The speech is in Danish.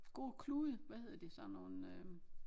Gode klude hvad hedder de sådan nogle øh